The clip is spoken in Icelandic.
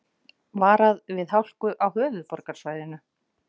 Varað við hálku á höfuðborgarsvæðinu